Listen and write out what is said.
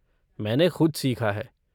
मैंने ख़ुद सीखा है।